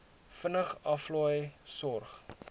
vinnig aflaai sorg